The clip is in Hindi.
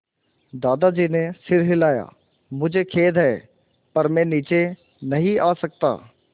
दादाजी ने सिर हिलाया मुझे खेद है पर मैं नीचे नहीं आ सकता